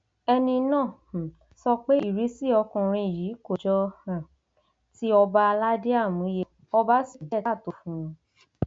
ẹni náà um sọ pé ìrísí ọkùnrin yìí kò jọ um tí ọba aládé àmúyẹ ọba sì kù díẹ káàtó fún un